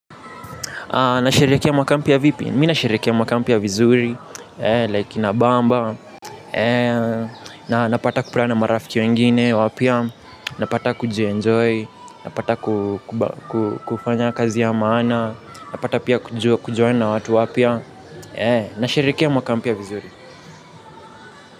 Nasherehekea mwaka mpya vipi? Mimi nasherehekea mwaka mpya vizuri, like inabamba, na napata kupatana marafiki wengine wapya, napata kujienjoy, napata kufanya kazi ya maana, napata pia kujuana watu wapya, nasherehekea mwaka mpya vizuri.